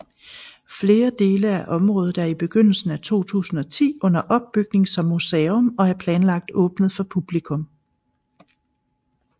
Flere dele af området er i begyndelsen af 2010 under opbygning som museum og er planlagt åbnet for publikum